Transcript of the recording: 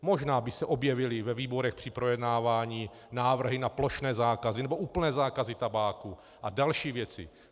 Možná by se objevily ve výborech při projednávání návrhy na plošné zákazy nebo úplné zákazy tabáku a další věci.